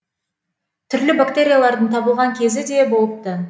түрлі бактериялардың табылған кезі де болыпты